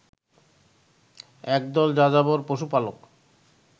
একদল যাযাবর পশুপালক